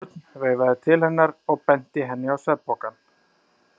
Örn veifaði til hennar og benti henni á svefnpokann.